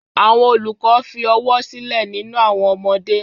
Àwọn olùkọ́ fi ọ̀wọ̀ sílẹ̀ nínú àwọn ọmọdé.